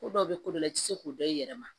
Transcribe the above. Ko dɔw bɛ kolo la i tɛ se k'o dɔn i yɛrɛ ma